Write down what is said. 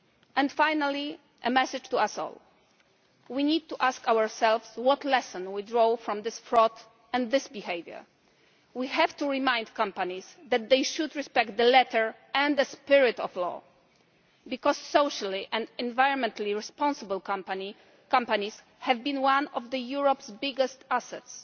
And finally, I have a message to us all. We need to ask ourselves what lesson we can draw from this fraud and this behaviour. We have to remind companies that they should respect the letter and the spirit of the law, because socially and environmentally responsible companies have been one of Europe's biggest